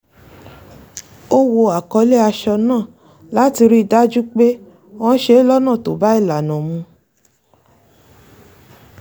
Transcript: ó wo àkọlé aṣọ náà láti rí i dájú pé wọ́n ṣe é lọ́nà tó bá ìlànà mu